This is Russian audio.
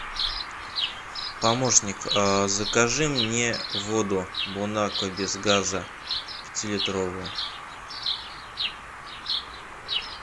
помощник закажи мне воду бонаква без газа пятилитровую